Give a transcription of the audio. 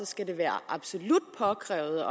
skal være absolut påkrævet